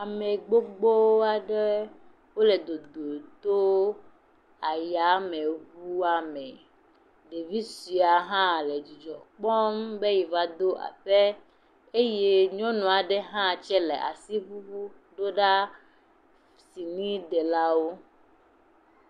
Ame gbogbo wole dodo tso ayameŋua me. Ɖevi suea hã le dzidzɔ kpɔm be yiva ɖo aƒe eye nyɔnu aɖe hã tsɛle asi ŋuŋum ɖo ɖa siniɖelawo.